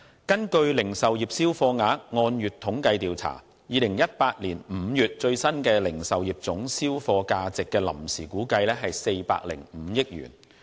根據《零售業銷貨額按月統計調查報告》，2018 年5月的最新零售業總銷貨價值的臨時估計為405億元。